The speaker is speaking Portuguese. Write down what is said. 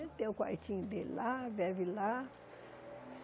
Ele tem o quartinho dele lá, bebe lá.